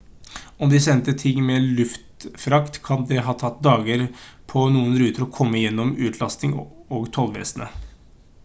om de sendte ting med luftfrakt det kan ha tatt dager på noen ruter å komme gjennom utlasting og tollvesenet